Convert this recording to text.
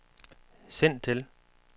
send til